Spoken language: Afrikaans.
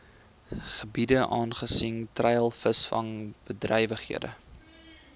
gebiede aangesien treilvisvangbedrywighede